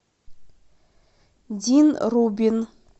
дин рубин